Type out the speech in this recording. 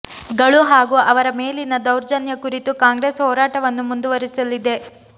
ಗಳು ಹಾಗೂ ಅವರ ಮೇಲಿನ ದೌರ್ಜನ್ಯ ಕುರಿತು ಕಾಂಗ್ರೆಸ್ ಹೋರಾಟವನ್ನು ಮುಂದುವರಿಸಲಿದೆ